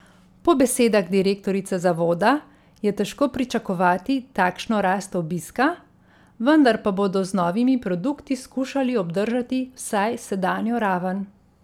Po besedah direktorice zavoda je težko pričakovati takšno rast obiska, vendar pa bodo z novimi produkti skušali obdržati vsaj sedanjo raven.